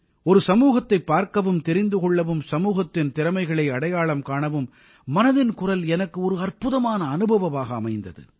ஒரு சமூகத்தைப் பார்க்கவும் தெரிந்து கொள்ளவும் சமூகத்தின் திறமைகளை அடையாளம் காணவும் மனதின் குரல் எனக்கு ஒரு அற்புதமான அனுபவமாக அமைந்தது